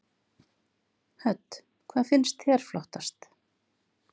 Hödd: Hvað finnst þér flottast?